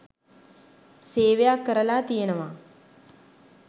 සේවයක් කරලා තියෙනවා.